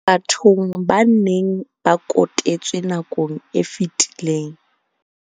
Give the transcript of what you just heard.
bathong ba neng ba kote tswe nakong e fetileng.